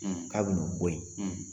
Ka b'u nu bɔ yen